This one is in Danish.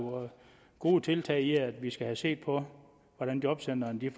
gode tiltag i at vi skal se på hvordan jobcentrene